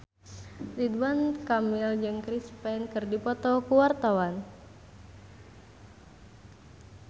Ridwan Kamil jeung Chris Pane keur dipoto ku wartawan